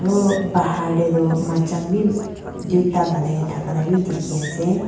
aru bahar te tu maichang bhi duita banai ne thaka laga bhi dekhi ase.